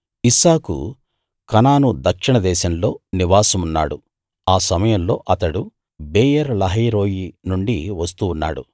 ఇస్సాకు కనాను దక్షిణ దేశంలో నివాసమున్నాడు ఆ సమయంలో అతడు బెయేర్‌ లహాయి రోయి నుండి వస్తూ ఉన్నాడు